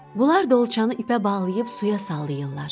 Bunlar dolçanı ipə bağlayıb suya sallayırlar.